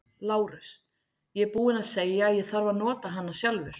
LÁRUS: Ég er búinn að segja að ég þarf að nota hana sjálfur.